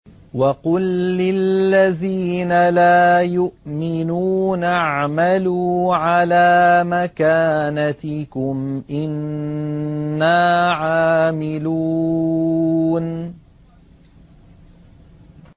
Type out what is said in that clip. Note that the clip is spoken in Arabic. وَقُل لِّلَّذِينَ لَا يُؤْمِنُونَ اعْمَلُوا عَلَىٰ مَكَانَتِكُمْ إِنَّا عَامِلُونَ